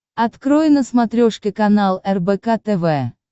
открой на смотрешке канал рбк тв